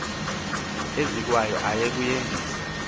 izekwayo aye kuyendisa